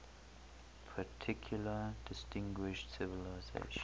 particularly distinguished civilization